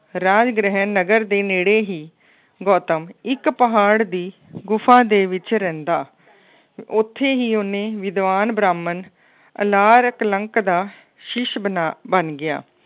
ਰਾਜਗ੍ਰਹਿ ਨਗਰ ਦੇ ਨੇੜੇ ਹੀ ਗੌਤਮ ਇੱਕ ਪਹਾੜ ਦੀ ਗੁਫਾ ਦੇ ਵਿੱਚ ਰਹਿੰਦਾ। ਉੱਥੇ ਹੀ ਉਹਨੇ ਵਿਦਵਾਨ ਬ੍ਰਾਹਮਣ ਅਲਾਰ ਕਲੰਕ ਦਾ ਸ਼ਿਸ਼ ਬਣਾ ਬਣ ਗਿਆ।